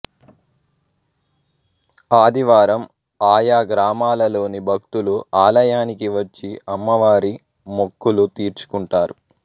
ఆదివారం ఆయా గ్రామాలలోని భక్తులు ఆలయానికి వచ్చి అమ్మవారి మొక్కులు తీర్చుకుంటారు